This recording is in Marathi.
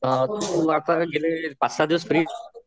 तू आता गेले पाच सहा दिवस फ्री